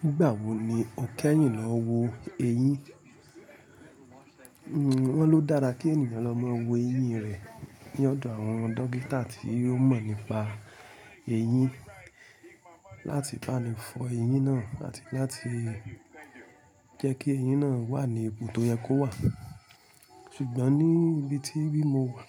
Nígbà wo ni o kẹ́yìn lọ wo eyín? Wọ́n lo dára kí ènìyàn lọ máa wo eyín rẹ̀ ní ọ̀dọ̀ àwọn dókítà tí ó mọ̀ nípa eyín láti bá ni fọ eyín náà àti láti jẹ́ kí eyín náà wà ní ibi tó yẹ kó wà. Ṣùgbọ́n ní ibi tí bí mo wà,